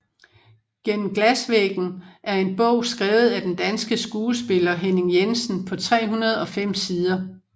Gennem glasvæggen er en bog skrevet af den danske skuespiller Henning Jensen på 305 sider